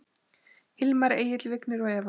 Hilmar Egill, Vignir og Eva.